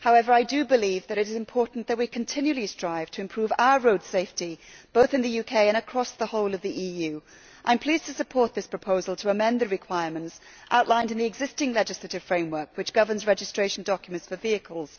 However, I do believe that it is important that we continually strive to improve our road safety, both in the UK and across the whole of the EU. I am pleased to support this proposal to amend the requirements outlined in the existing legislative framework which governs registration documents for vehicles.